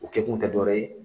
O kɛ kun tɛ dɔ wɛrɛ ye.